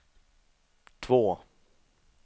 två